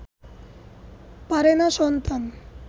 পারে না সন্তান